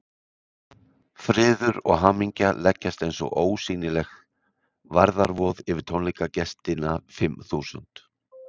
Friður og hamingja leggjast eins og ósýnileg værðarvoð yfir tónleikagestina fimm þúsund.